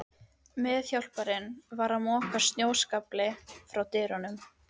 Meðhjálparinn var að moka snjóskafli frá dyrunum.